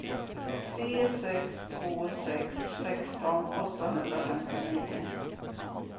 tre sex två sex sexton åttahundrafemtionio